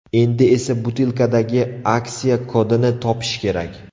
Endi esa butilkadagi aksiya kodini topish kerak.